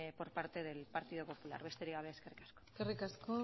por parte del partido popular besterik gabe eskerrik asko eskerrik asko